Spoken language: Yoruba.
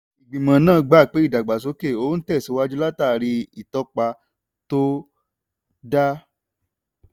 ìgbìmọ̀ náà gbà pé ìdàgbàsókè ó tẹ̀síwájú látàrí ìtọ́pa tó dáa.